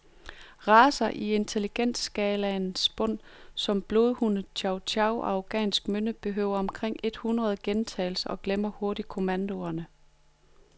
Racer i intelligensskalaens bund som blodhund, chow chow og afghansk mynde behøver omkring et hundrede gentagelser og glemmer hurtigt kommandoerne.